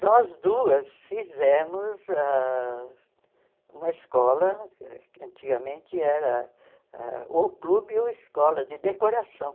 Nós duas fizemos ãh uma escola, antigamente era ah ou clube ou escola de decoração.